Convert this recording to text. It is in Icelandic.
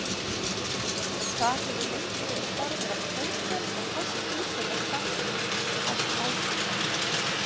Þar hefur lengi verið starfrækt hótel og föst búseta starfsfólks allt árið.